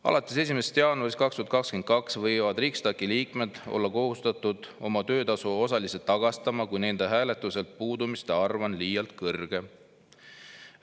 Alates 1. jaanuarist 2022 on Riksdagi liikmed kohustatud oma töötasu osaliselt tagastama, kui nende hääletuselt puudumiste arv on liialt kõrge.